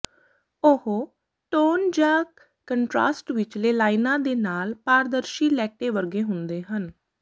ਉਹ ਟੋਨ ਜਾਂ ਕੰਟ੍ਰਾਸਟ ਵਿਚਲੇ ਲਾਈਨਾਂ ਦੇ ਨਾਲ ਪਾਰਦਰਸ਼ੀ ਲੈਟੇ ਵਰਗੇ ਹੁੰਦੇ ਹਨ